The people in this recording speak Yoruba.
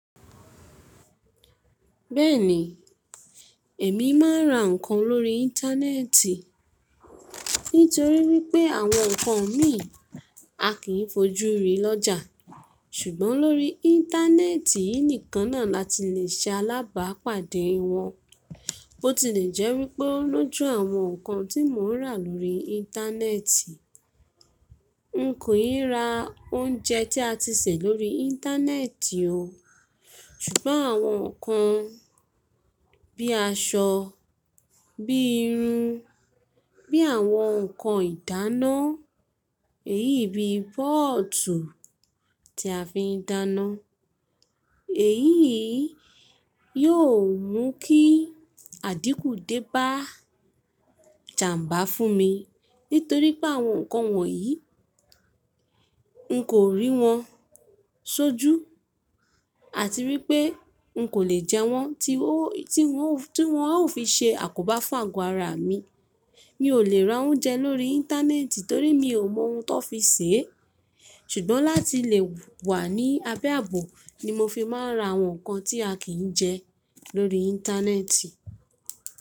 Bẹ́ẹ̀ni, èmi máa ń ra ǹkan lórí Íńtánẹ́ẹ̀tì nítorí wípé àwọn ǹkan mìí a kì í fojú ri lọ́jà. Ṣùgbọ́n lórí Íńtánẹ́ẹ̀tì nìkan náà la ti lè ṣe alábàápàdé wọn. Bó ti lè jẹ́ wípé lójú àwọn ǹkan tí mò ń rà lórí Íńtánẹ́ẹ̀tì, n kò yí ra oúnjẹ tí a ti sè lórí Íńtánẹ́ẹ̀tì o. Ṣùgbọ́n àwọn ǹkan bí aṣọ, bí irun, bí àwọn ǹkan ìdáná, èyí bí bọ́ọ̀tù tí a fi ń dáná. Èyí yóò mú kí àdíkùú dé bá jàmbá fún mi nítorí pé àwọn ǹkan wọ̀nyí, n kò rí wọn sójú àti wípé n kò lè jẹ wọ́n tí wọ́n a ó fi ṣe àkóbá fún àgọ́ ara mi. Mi ò lè ra oúnjẹ lórí Íńtánẹ́ẹ̀tì torí mi ò mọ oun tó fi sè é. Ṣùgbọ́n láti lè wà ní abẹ́ àbò ni mo fi máa ń ra àwọn ǹkan tí a kì í jẹ lórí Íńtánẹ́ẹ̀tì.